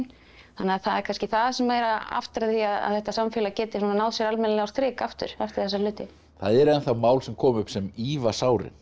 þannig að það er kannski það sem er að aftra því að þetta samfélag geti náð sér almennilega á strik aftur eftir þessa hluti það eru ennþá mál sem koma upp sem ýfa sárin